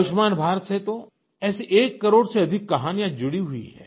आयुष्मान भारत से तो ऐसी एक करोड़ से अधिक कहानियाँ जुड़ी हुई हैं